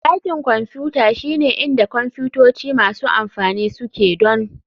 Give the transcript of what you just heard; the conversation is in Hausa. Dakin Kwamfuta shine inda kwamfutoci masu amfani suke donr.